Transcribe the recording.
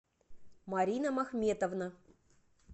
марина махметовна